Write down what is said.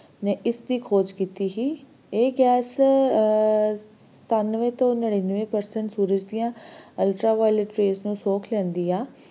ਨੇ ਇਸ ਦੀ ਖੋਜ ਕੀਤੀ ਸੀ ਇਹ ਗੈਸ ਆਹ ਸਤਾਨਵੈ ਤੋਂ ਨਨਿਵੇ per cent ਸੂਰਜ ਦੀਆਂ ultraviolet rays ਨੂੰ ਸੋਖ ਲੈਂਦੀ ਐ